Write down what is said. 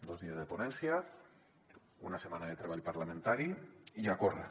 dos dies de ponència una setmana de treball parlamentari i a córrer